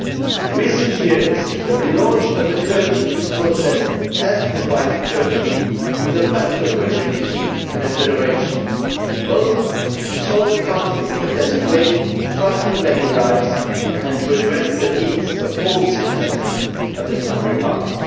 In recent years the relaunch of the Kurdish peace process has provided Turkey with the best opportunity in a generation both to resolve a conflict that has claimed far too many lives and to address the needs of all the citizens of the republic.